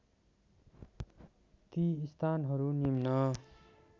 ती स्थानहरू निम्न